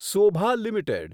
Sobha limited